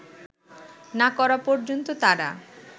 না করা পর্যন্ত তারা